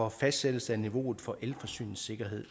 at fastsætte niveauet for elforsyningssikkerhed